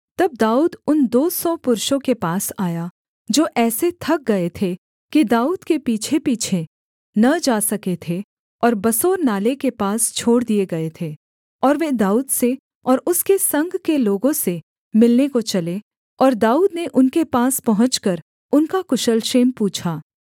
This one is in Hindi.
तब दाऊद उन दो सौ पुरुषों के पास आया जो ऐसे थक गए थे कि दाऊद के पीछेपीछे न जा सके थे और बसोर नाले के पास छोड़ दिए गए थे और वे दाऊद से और उसके संग के लोगों से मिलने को चले और दाऊद ने उनके पास पहुँचकर उनका कुशल क्षेम पूछा